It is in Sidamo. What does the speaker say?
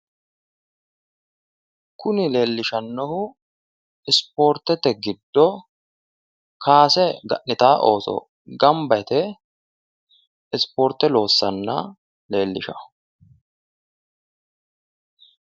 kuni leellishannohu ispoortete giddo kaase ga'nitanno ooso gamba yite ispoorte loossanna leelishanno.